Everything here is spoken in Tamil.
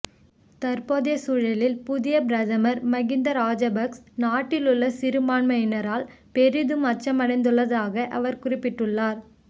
தற்போதைய சூழலில் புதிய பிரதமர் மகிந்த ராஜபக்ஸ நாட்டிலுள்ள சிறுபான்மையினரால் பெரிதும் அச்சமடைந்துள்ளதாகவும் அவர் குறிப்பிட்டுள்ளார்